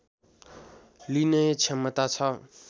लिने क्षमता छ